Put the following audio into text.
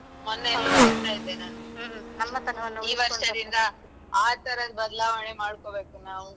ಮೊನ್ನೆ ಎಲ್ಲೋ ಓದುತ್ತಾ ಇದ್ದೆ ನಾನು ಈ ವರ್ಷದಿಂದ ಆ ತರದ್ ಬದಲಾವಣೆ ಮಾಡ್ಕೋಬೇಕು ನಾವು.